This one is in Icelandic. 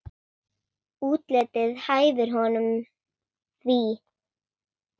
Útlitið hæfir honum því.